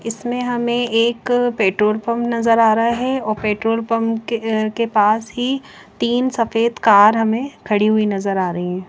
इसमे हमे एक पेट्रोल पंप नजर आ रहा हैं और पेट्रोल पंप के के पास ही तीन सफ़ेद कार खड़ी हुई नजर आ रही हैं ।